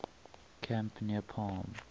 camp near palm